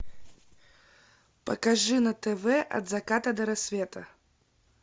покажи на тв от заката до рассвета